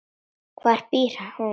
Hvar býr hún?